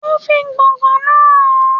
O fi gbọ̀ngàn náà hàn án.